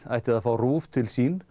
ætti að fá RÚV til sín